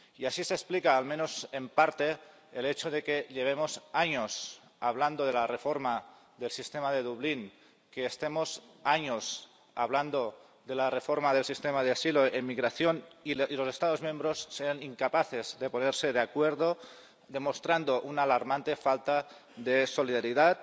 Y así se explica, al menos en parte, el hecho de que llevemos años hablando de la reforma del sistema de Dublín y que estemos años hablando de la reforma del sistema de asilo y migración, y los Estados miembros sean incapaces de ponerse de acuerdo, demostrando una alarmante falta de solidaridad,